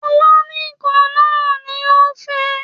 Tọ́lání kan náà ni ó fẹ́